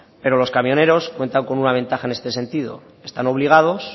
pero los camioneros cuentan con una ventaja en este sentido están obligados